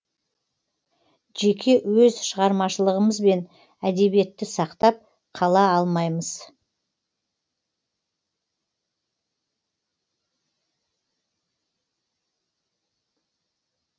жеке өз шығармашылығымызбен әдебиетті сақтап қала алмаймыз